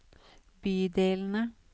bydelene